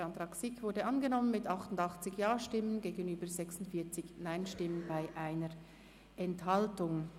Der Antrag SiK ist angenommen worden mit 88 Ja- gegenüber 46 Nein-Stimmen bei 1 Enthaltung.